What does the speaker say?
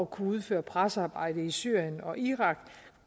kunne udføre pressearbejde i syrien og irak